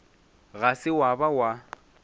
ga se wa ba wa